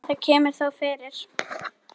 Það kemur þó fyrir.